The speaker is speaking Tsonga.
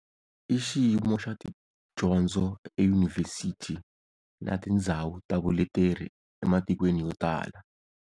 I xiyimo xa tidyondzo e yunivhesithi na tindzhawu ta vuleteri e matikweni yo tala.